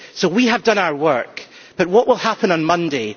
We have done our work, but what will happen on Monday?